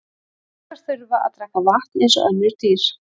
Fuglar þurfa að drekka vatn eins og önnur dýr.